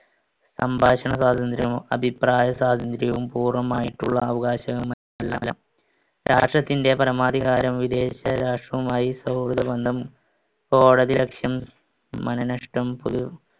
സംഭാഷണസ്വാതന്ത്ര്യം, അഭിപ്രായസ്വാതന്ത്ര്യവും പൂർണമായിട്ടുള്ള അവകാശമെന്ന് അല്ല. രാഷ്ട്രത്തിന്‍റെ പരമാധികാരം വിദേശരാഷ്ട്രവുമായി സൗഹൃദബന്ധം, കോടതി അലക്ഷ്യം, മനനഷ്ടം, പൊ~